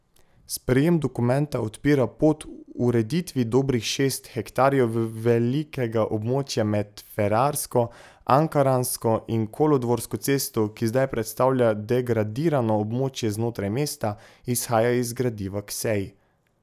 Sprejem dokumenta odpira pot ureditvi dobrih šest hektarjev velikega območja med Ferrarsko, Ankaransko in Kolodvorsko cesto, ki zdaj predstavlja degradirano območje znotraj mesta, izhaja iz gradiva k seji.